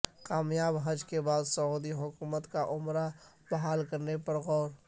کامیاب حج کے بعد سعودی حکومت کا عمرہ بحال کرنے پر غور